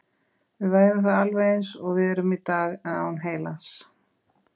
Við værum þá alveg eins og við erum í dag, en án heilans.